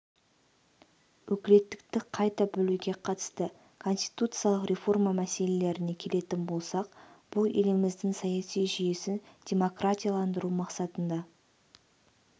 өкілеттікті қайта бөлуге қатысты конституциялық реформа мәселелеріне келетін болсақ бұл еліміздің саяси жүйесін демократияландыру мақсатында